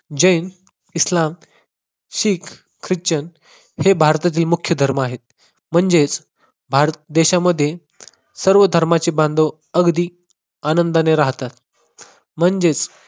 जैन, इस्लाम, शीख, ख्रिश्चन हे भारतातील मुख्य धर्म आहेत. म्हणजेच भारत देशामध्ये सर्व धर्माचे बांधव अगदी आनंदाने राहतात. म्हणजेच